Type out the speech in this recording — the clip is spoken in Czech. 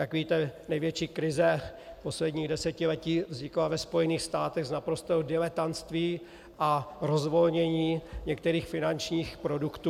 Jak víte, největší krize posledních desetiletí vznikla ve Spojených státech z naprostého diletantství a rozvolnění některých finančních produktů.